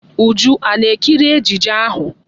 Uju a na-ekiri ejije ahụ?